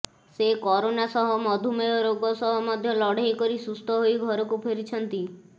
ସେ କରୋନା ସହ ମଧୁମେହ ରୋଗ ସହ ମଧ୍ୟ ଲଢେଇ କରି ସୁସ୍ଥ ହୋଇ ଘରକୁ ଫେରିଛନ୍ତି